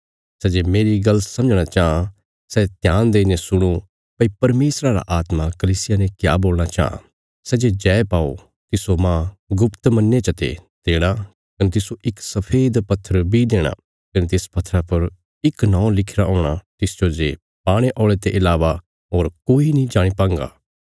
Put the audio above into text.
सै जे मेरी गल्ल समझणा चाँह सै ध्यान देईने सुणो भई परमेशरा रा आत्मा कलीसियां ने क्या बोलणा चांह सै जे जय पाओ तिस्सो मांह गुप्त मन्ने चते देणा कने तिस्सो इक सफेद पत्थर बी देणा कने तिस पत्थरा पर इक नौं लिखिरा हूणा तिसजो जे पाणे औल़े ते इलावा होर कोई नीं जाणी पांगा